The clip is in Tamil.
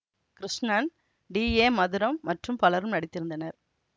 கிருஷ்ணன் டி ஏ மதுரம் மற்றும் பலரும் நடித்திருந்தனர்